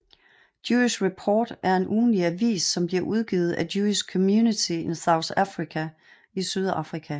Jewish Report er en ugenlig avis som bliver udgivet af Jewish community in South Africa i Sydafrika